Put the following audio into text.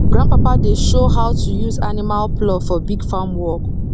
grandpapa dey show how to use animal plough for big farm work